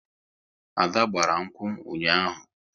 Ada gbara nkwu ụnyaahụ